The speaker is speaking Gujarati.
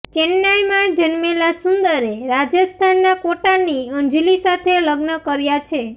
ચેન્નાઈમાં જન્મેલા સુંદરે રાજસ્થાનના કોટાની અંજલી સાથે લગ્ન કર્યા છે